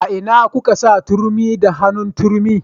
A ina kuka sa turmi da hannun turmi